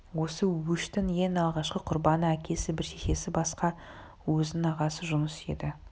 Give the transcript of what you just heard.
осы өштің ең алғашқы құрбаны әкесі бір шешесі басқа өзінің ағасы жұныс еді